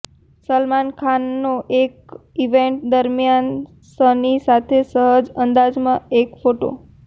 સલમાન ખાનનો એક ઇવેન્ટ દરમ્યાન સની સાથે સહજ અંદાજમાં એક ફોટો